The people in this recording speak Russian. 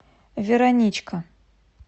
вероничка